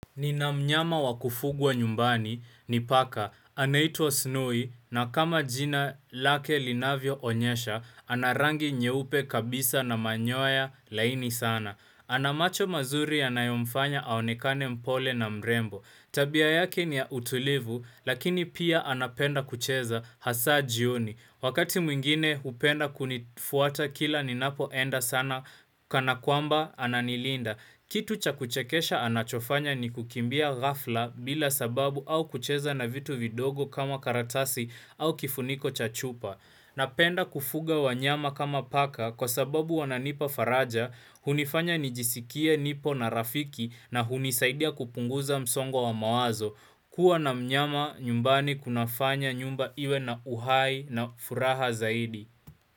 Nina mnyama wakufugwa nyumbani, ni paka, anaitwa snoi, na kama jina lake linavyo onyesha, anarangi nyeupe kabisa na manyoya laini sana. Ana macho mazuri yanayo mfanya aonekane mpole na mrembo. Tabia yake ni ya utulivu, lakini pia anapenda kucheza hasa jioni. Wakati mwingine hupenda kunifuata kila ninapo enda sana, kana kwamba ananilinda. Kitu cha kuchekesha anachofanya ni kukimbia ghafla bila sababu au kucheza na vitu vidogo kama karatasi au kifuniko cha chupa. Napenda kufuga wanyama kama paka kwa sababu wananipa faraja, hunifanya nijisikie nipo na rafiki na hunisaidia kupunguza msongwa wa mawazo. Kua na mnyama nyumbani kuna fanya nyumba iwe na uhai na furaha zaidi.